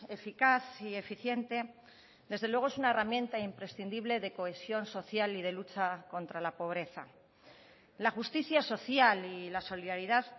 eficaz y eficiente desde luego es una herramienta imprescindible de cohesión social y de lucha contra la pobreza la justicia social y la solidaridad